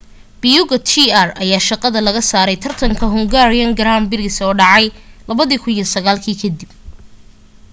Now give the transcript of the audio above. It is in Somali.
piquet jr ayaa shaqada laga saaray taratanka hungarian grand prix dhacay 2009 ka dib